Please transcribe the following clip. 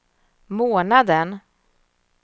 månaden